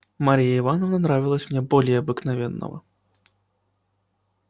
марья ивановна нравилась мне более обыкновенного